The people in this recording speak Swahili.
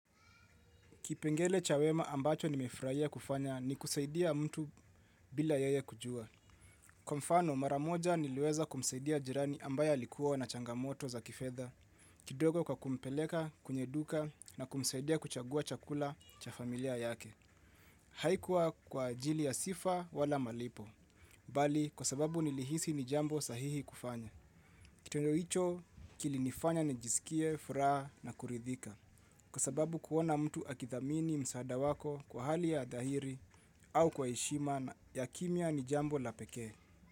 Kipengele cha wema ambacho nimefurahia kufanya ni kusaidia mtu bila yeye kujua. Kwa mfano, mara moja niliweza kumsaidia jirani ambaye alikuwa na changamoto za kifedha, kidogo kwa kumpeleka, kwenye duka, na kumsaidia kuchagua chakula cha familia yake. Haikuwa kwa ajili ya sifa wala malipo. Bali, kwa sababu nilihisi ni jambo sahihi kufanya. Kitendo hicho, kilinifanya nijisikie, furaha na kuridhika. Kwa sababu kuona mtu akithamini msaada wako kwa hali ya dhahiri au kwa heshima na ya kimya ni jambo la pekee.